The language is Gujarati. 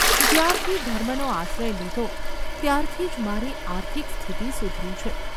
જ્યારથી ધર્મનો આશ્રય લીધો ત્યારથી જ મારી આર્થિક સ્થિતિ સુધરી છે.